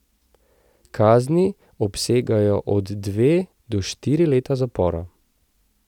Kazni obsegajo od dve do štiri leta zapora.